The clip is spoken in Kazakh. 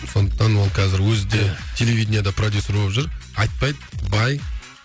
сондықтан ол қазір өзі де телевиденияде продюссер болып жүр айтпайды бай